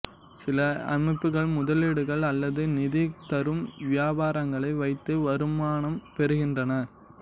சில அமைப்புகள் முதலீடுகள் அல்லது நிதி தரும் வியாபாரங்களை வைத்து வருமானம் பெறுகின்றன